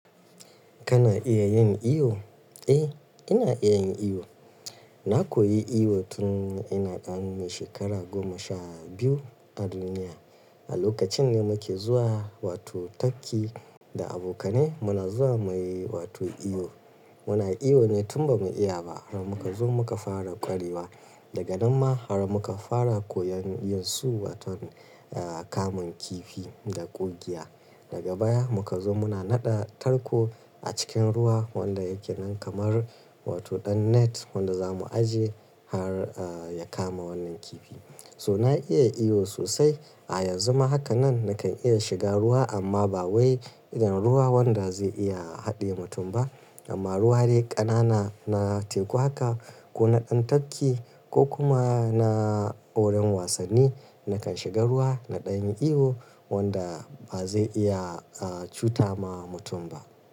Kana iya yin iyo? Eh, ina iya yin iyo. Na koyi iyo tun ina ɗan shekara goma sha biyu a duniya. A lokacin da muke zuwa wato tafki da abokanai muna zuwa muyi wato iyo. Muna iyo ne tun ba mu iya ba har muka zo muka fara ƙwarewa. Daga nan ma har muka fara koyon yin su waton, eh kamun kifi da ƙugiya. Daga baya muka zo muna naɗa tarko a cikin ruwa wanda yake nan kamar wato ɗan net wanda za mu aje har eh ya kama wannan kifi. So na iya iyo sosai. A yanzu ma haka nan nakan iya shiga ruwa amma ba wai irin ruwa wanda zai iya haɗe mutum ba amma ruwa dai ƙanana na teku haka ko na ɗan tafki ko kuma na wurin wasanni nakan shiga ruwa na ɗan iyo wanda ba zai iya eh cuta ma mutum ba.